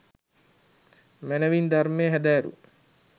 මැනැවින් ධර්මය හැදෑරූ